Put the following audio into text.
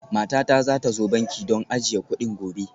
Matata za ta zo banki don ajiye kuɗin gobe